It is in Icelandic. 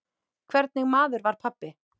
Hvernig maður var pabbi?